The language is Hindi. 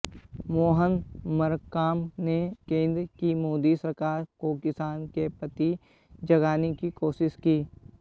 मोहन मरकाम ने केंद्र की मोदी सरकार को किसानो के प्रति जगाने की कोशिश की